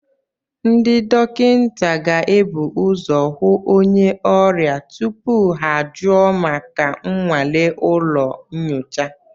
Ndị dọkịta ga-ebu ụzọ hụ onye ọrịa tupu ha ajụọ maka nnwale ụlọ nyocha